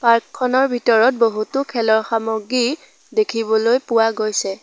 Park খনৰ ভিতৰত বহুতো খেলৰ সামগ্ৰী দেখিবলৈ পোৱা গৈছে।